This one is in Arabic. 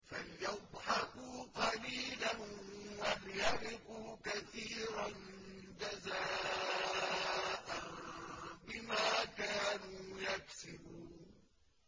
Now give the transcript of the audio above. فَلْيَضْحَكُوا قَلِيلًا وَلْيَبْكُوا كَثِيرًا جَزَاءً بِمَا كَانُوا يَكْسِبُونَ